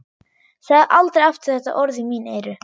Segðu aldrei aftur þetta orð í mín eyru.